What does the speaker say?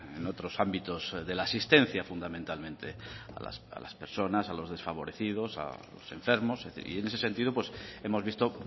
en otros ámbitos de la asistencia fundamentalmente a las personas a los desfavorecidos a los enfermos y en ese sentido hemos visto